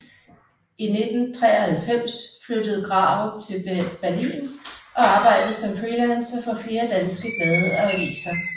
I 1993 flyttede Grarup til Berlin og arbejdede som freelancer for flere danske blade og aviser